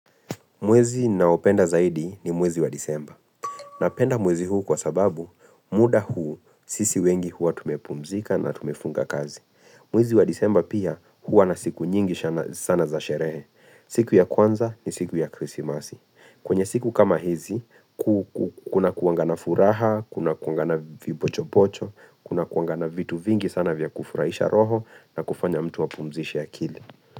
Mwezi naopenda zaidi ni mwezi wa disemba. Napenda mwezi huu kwa sababu muda huu sisi wengi hua tumepumzika na tumefunga kazi. Mwezi wa disemba pia hua na siku nyingi sana za sherehe. Siku ya kwanza ni siku ya krisi masi. Kwenye siku kama hizi, kuna kuanga na furaha, kuna kuanga na vipocho pocho, kuna kuangana vitu vingi sana vya kufurahisha roho na kufanya mtu wa pumzisha ya kili.